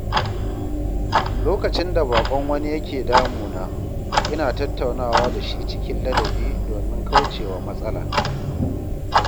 Lokacin da baƙon wani yake damuna, ina tattaunawa da shi cikin ladabi domin kauce wa matsala.